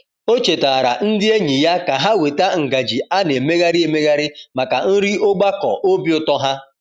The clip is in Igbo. O chetaara ndị enyi ya ka ha weta ngaji a na-emegharị emegharị maka nri ogbakọ obi ụtọ ha.